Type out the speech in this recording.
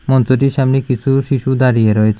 মঞ্চটির সামনে কিছু শিশু দাঁড়িয়ে রয়েচে ।